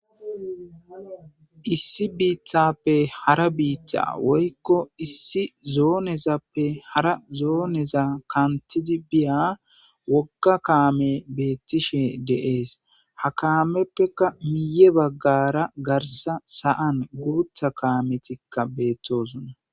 issi biittappe hara biiththa woykko issi zoonezappe hara zooneza kantidi biya wogga kaame beettishe deees ha kaameppeka miye baggara garsa saan guutha kaametikka beettosonna